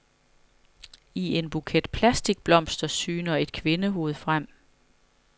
I en buket plastikblomster syner et kvindehoved frem.